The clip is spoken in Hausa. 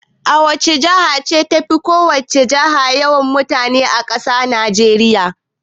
Wace jiha ce tafi ko wace jiha yawan mutane a ƙasar Najeriya?